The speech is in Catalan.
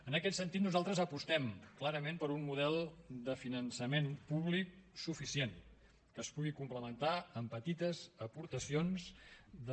en aquest sentit nosaltres apostem clarament per un model de finançament públic suficient que es pugui complementar amb petites aportacions de